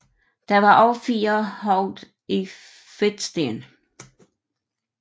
Der var også fire hoveder i fedtsten